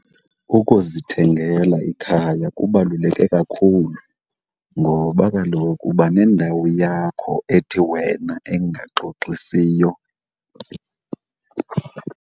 Ukuzithengela ikhaya kubaluleke kakhulu ngoba kaloku uba nendawo yakho ethi wena engaxoxisiyo.